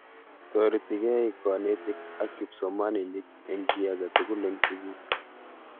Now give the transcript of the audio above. Toretekei konetik ak kipsomaninik eng kiy age tugul eng sukul